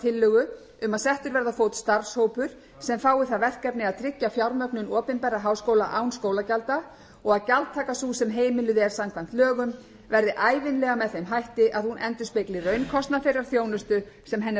tillögu um að settur verði á fót starfshópur sem fái það verkefni að tryggja fjármögnun opinberra háskóla án skólagjalda og að gjaldtaka sú sem heimiluð er samkvæmt lögum verði ævinlega með þeim hætti að hún endurspegli raunkostnað þeirrar þjónustu sem henni er